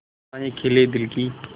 आशाएं खिले दिल की